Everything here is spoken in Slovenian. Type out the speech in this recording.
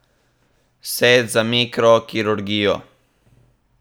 Set za mikrokirurgijo.